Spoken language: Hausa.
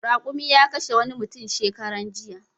Raƙumi ya kashe wani mutum shekaran jiya.